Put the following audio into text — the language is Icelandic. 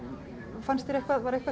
fannst þér eitthvað var eitthvað